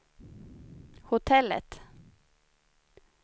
hotellet